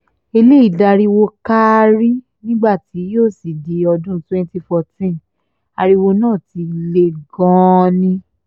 eléyìí dariwo kárí nígbà tí yóò sì di ọdún twenty fourteen ariwo náà ti le gan-an ni